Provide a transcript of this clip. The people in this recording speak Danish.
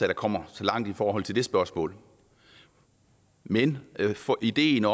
der kommer så langt i forhold til det spørgsmål men ideen